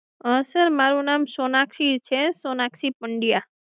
sir મારું નામ સોનાક્ષી છે, સોનાક્ષી પંડયા